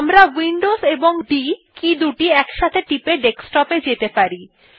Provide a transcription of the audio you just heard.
আমরা উইন্ডোজ এবং D key একসাথে টিপে ডেস্কটপ এ যেতে পারি